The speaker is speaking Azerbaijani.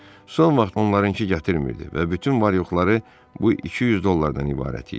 Son vaxt onlarınkı gətirmirdi və bütün var-yoxları bu 200 dollardan ibarət idi.